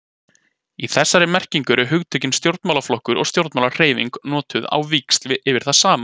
Í þessari merkingu eru hugtökin stjórnmálaflokkur og stjórnmálahreyfing notuð á víxl yfir það sama.